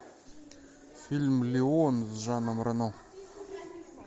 фильм леон с жаном рено